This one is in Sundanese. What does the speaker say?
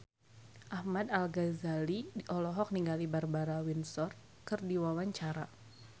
Ahmad Al-Ghazali olohok ningali Barbara Windsor keur diwawancara